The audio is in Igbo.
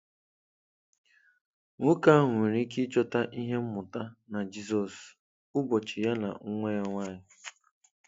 Nwoke ahụ nwere ike ịchọta ihe mmụta na Jizọs, ụbọchị ya na nwa ya nwanyị.